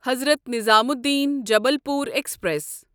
Hazrat Nizamuddin Jabalpur express